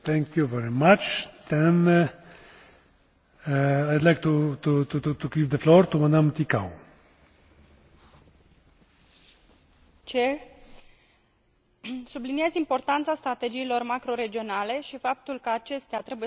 Subliniez importanța strategiilor macroregionale și faptul că acestea trebuie să se bazeze pe o guvernanță pe mai multe niveluri, asigurând implicarea autorităților locale și regionale, precum și a reprezentanților societății civile, a universităților și a centrelor de cercetare,